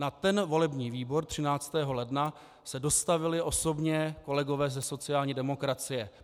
Na ten volební výbor 13. ledna se dostavili osobně kolegové ze sociální demokracie.